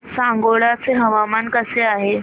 सांगोळा चं हवामान कसं आहे